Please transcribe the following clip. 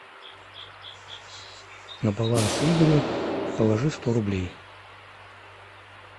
на баланс игорю положи сто рублей